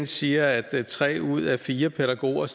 siger at tre ud af fire pædagoger